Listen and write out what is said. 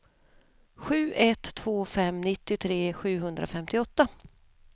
sju ett två fem nittiotre sjuhundrafemtioåtta